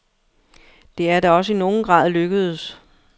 Det er da også i nogen grad lykkedes.